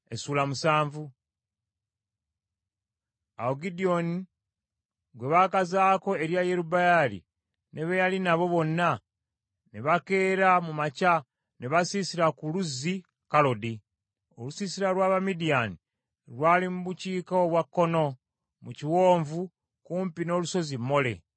Awo Gidyoni gwe baakazaako erya Yerubbaali, ne be yali nabo bonna, ne bakeera mu makya, ne basiisira ku luzzi Kalodi; Olusiisira lwa Bamidiyaani lwali mu bukiika obwa kkono mu kiwonvu, kumpi n’olusozi Mole.